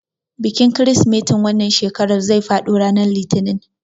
Bikin kirsimetin wannan shekarar zai faɗo ranar litinin.